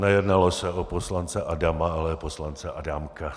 Nejednalo se o poslance Adama, ale o poslance Adámka.